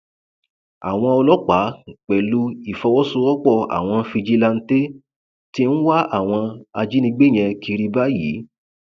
àwọn ọlọpàá pẹlú ìfọwọsowọpọ àwọn fíjíláńtẹ tí ń wá àwọn ajínigbé yẹn kiri báyìí